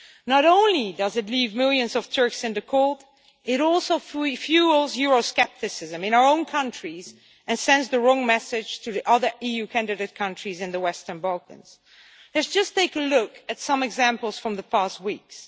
Not only does it leave millions of Turks out in the cold, it also fuels euroscepticism in our own countries and sends the wrong message to the other EU candidate countries in the Western Balkans. Let us take a look at some examples from the past weeks.